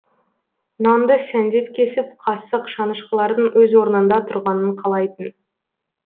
нанды сәндеп кесіп қасық шанышқылардың өз орнында тұрғанын қалайтын